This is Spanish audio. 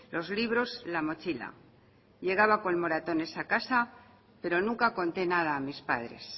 los libros la mochila llegaba con moratones a casa pero nunca conté nada a mis padres